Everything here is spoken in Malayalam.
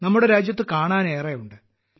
നമ്മുടെ രാജ്യത്ത് കാണാനേറെയുണ്ട്